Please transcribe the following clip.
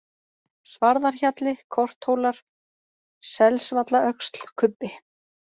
Svarðarhjalli, Korthólar, Selsvallaöxl, Kubbi